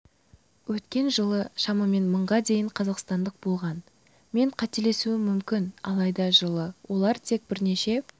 өткен жылы шамамен мыңға дейін қазақстандық болған мен қателесуім мүмкін алайда жылы олар тек бірнеше